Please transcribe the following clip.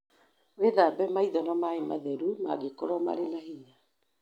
Wĩthambe maitho na maĩ matheru mangĩkorũo marĩ na hinya.